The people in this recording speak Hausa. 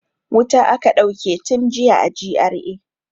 Wuta aka dauke tun jiya a GRA.